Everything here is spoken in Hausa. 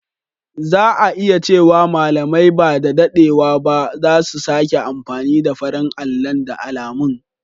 Za a iya cewa malamai ba da daɗewa ba za su sake amfani da farin allon da alamun.